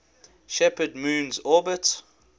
shepherd moon's orbit